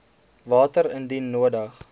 water indien nodig